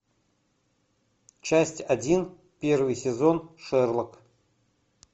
часть один первый сезон шерлок